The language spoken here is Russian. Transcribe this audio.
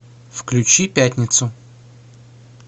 включи пятницу